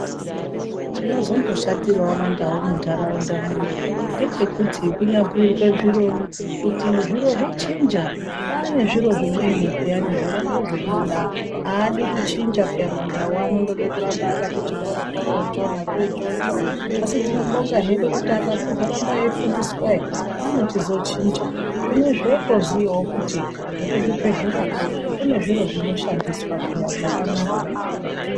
Chinozombo shatirawo mandau munharaunda munomu ngechekuti kunyabhuirwa zviro kuti zviro zvachinja kwane zviro zvimweni peyani zvoramba zveibuda aadi kuchinja peya. Mandau andoda kutamba akati chikoro korocho nacho ichocho, asi tinobonga hedu kuti akachiziramba eifundiswa ere ano chizochinja. Zvinezvi otoziyawo kuti nekuzvibhedhleyakwo kune zviro zvinoshandiswa peya zvakanaka.